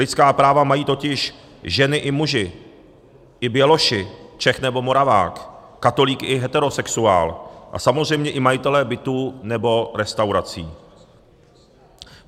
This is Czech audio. Lidská práva mají totiž ženy i muži, i běloši, Čech nebo Moravák, katolík i heterosexuál a samozřejmě i majitelé bytů nebo restaurací.